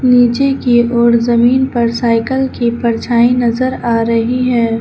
नीचे की ओर जमीन पर साइकिल की परछाई नजर आ रही है।